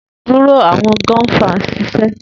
duro awọn gun far nṣiṣẹ